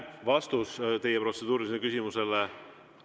Vastus teie protseduurilisele küsimusele.